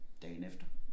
Dagen efter